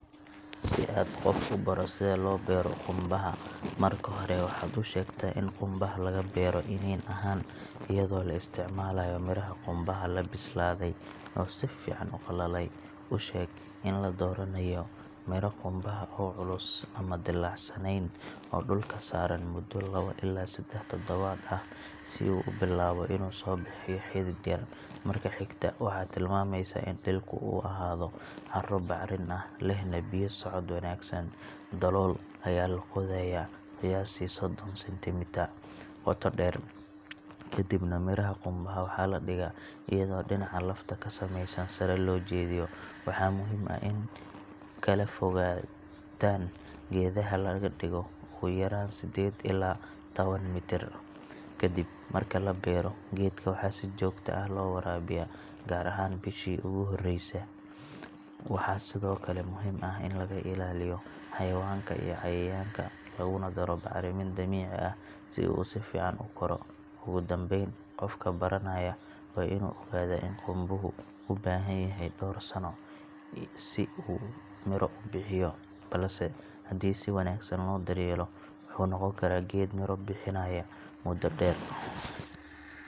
Si aad qof u baro sida loo beero qumbaha, marka hore waxaad u sheegtaa in qumbaha laga beero iniin ahaan, iyadoo la isticmaalayo miraha qumbaha la bislaaday oo si fiican u qalalay. U sheeg in la dooranayo miro qumbaha ah oo culus, aan dillaacsanayn, oo dhulka saaran muddo lawo ilaa seddex toddobaad ah si uu u bilaabo inuu soo bixiyo xidid yar. Marka xigta, waxaad tilmaamaysaa in dhulku uu ahaado carro bacrin ah, lehna biyo-socod wanaagsan. Dalool ayaa la qodayaa, qiyaastii soddon centimetre qoto dheer, ka dibna miraha qumbaha waxaa la dhigaa iyadoo dhinaca lafta ka samaysan sare loo jeediyo. Waxaa muhiim ah in kala fogaanta geedaha laga dhigo ugu yaraan sedded ilaa tawan mitir. Kadib marka la beero, geedka waxaa si joogto ah loo waraabiyaa, gaar ahaan bishii ugu horeysay. Waxaa sidoo kale muhiim ah in laga ilaaliyo xayawaanka iyo cayayaanka, laguna daro bacrimin dabiici ah si uu si fiican u koro. Ugu dambayn, qofka baranaya waa inuu ogaadaa in qumbuhu u baahan yahay dhowr sano si uu miro u bixiyo, balse haddii si wanaagsan loo daryeelo, wuxuu noqon karaa geed miro bixinaya muddo dheer.